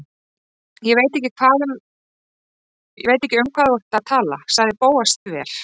Ég veit ekki um hvað þú ert að tala- sagði Bóas þver